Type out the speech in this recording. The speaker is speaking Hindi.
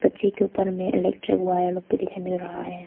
के ऊपर में इलेक्ट्रिक वायर भी दिखाई मिल रहा है।